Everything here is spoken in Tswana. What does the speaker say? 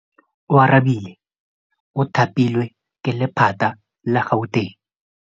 Oarabile o thapilwe ke lephata la Gauteng.